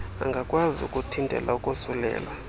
angakwazi ukuthintela ukosulelwa